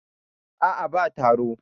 a a ba taro